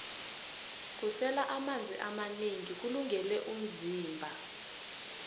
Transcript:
kusela amanzi amanengi kulungele vmzimba